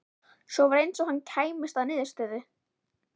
Svo var eins og hann kæmist að niðurstöðu.